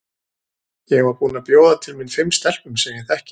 Ég var búin að bjóða til mín fimm stelpum sem ég þekki.